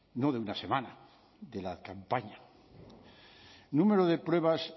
no de una semana de la campaña número de pruebas